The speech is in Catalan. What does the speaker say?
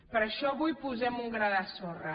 per això avui hi posem un gra de sorra